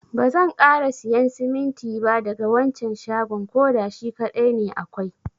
Bazan kara siyan siminti ba daga wancan shagon. koda shi kadai ne akwai.